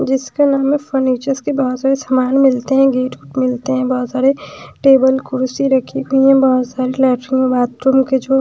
जिसके मे फर्नीचर्स के बहोत सारे सामान मिलते है गेट मिलते हैं बहोत सारे टेबल कुर्सी रखी हुई हैं बहोत सारे लैट्रिन बाथरूम के छो--